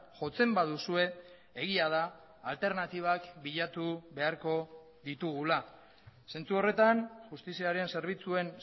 jotzen baduzue egia da alternatibak bilatu beharko ditugula zentsu horretan justiziaren zerbitzuen